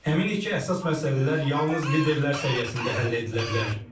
Əminik ki, əsas məsələlər yalnız liderlər səviyyəsində həll edilə bilər.